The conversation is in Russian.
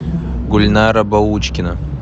гульнара баучкина